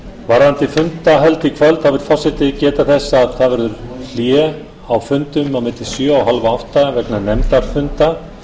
varðandi fundahöld í kvöld vill forseti geta þess að það verður hlé á fundum á milli sjö og hálfátta vegna nefndarfunda